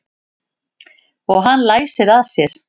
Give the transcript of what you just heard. Og hann læsir að sér.